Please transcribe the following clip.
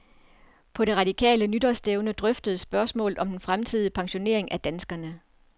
På det radikale nytårsstævne drøftedes spørgsmålet om den fremtidige pensionering af danskerne.